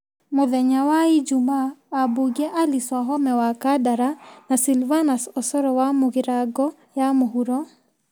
Mũthenya wa ijumaa, ambunge Alice Wahome wa Kandara na Sylvanus Osoro wa Mũgirango ya mũhuro ,